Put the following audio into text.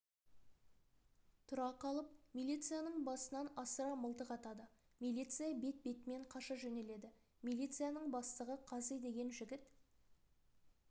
тұра қалып милицияның басынан асыра мылтық атады милиция бет-бетімен қаша жөнеледі милицияның бастығы қази деген жігіт